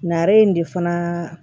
Nare in de fana